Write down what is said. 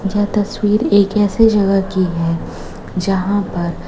यह तस्वीर एक ऐसे जगह की है जहां पर--